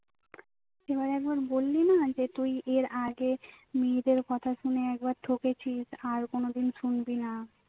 তুই আমায় একবার বললিনা যে তুই এর আগে মেয়েদের কথা শুনে একবার ঠকেছিস আর কোনোদিন শুনবিনা